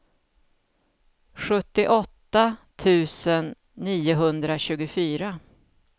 sjuttioåtta tusen niohundratjugofyra